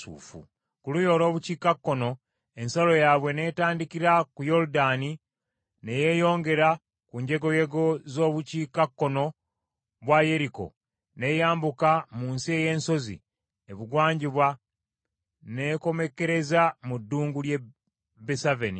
Ku luuyi olw’obukiikakkono ensalo yaabwe ne tandikira ku Yoludaani ne yeeyongera ku njegoyego z’obukiikakkono bwa Yeriko n’eyambuka mu nsi ey’ensozi ebugwanjuba n’ekomekkereza mu ddungu ly’e Besaveni.